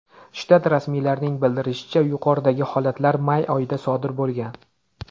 Shtat rasmiylarining bildirishicha, yuqoridagi holatlar may oyida sodir bo‘lgan.